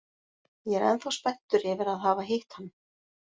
Ég er ennþá spenntur yfir að hafa hitt hann!